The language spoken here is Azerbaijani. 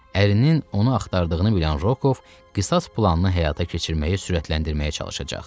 Ərinin onu axtardığını bilən Rokov qisas planını həyata keçirməyi sürətləndirməyə çalışacaq.